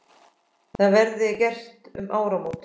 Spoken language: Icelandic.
Það verði gert um áramót.